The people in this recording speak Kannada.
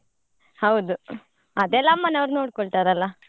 ಹೌದು ಅದೆಲ್ಲ ಅಮ್ಮನವ್ರು ನೋಡ್ಕೊಳ್ತಾರಲ್ಲಾ.